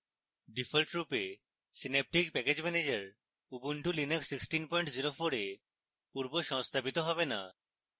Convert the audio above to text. ডিফল্টরূপে synaptic package manager ubuntu linux 1604 এ পূর্বসংস্থাপিত হবে না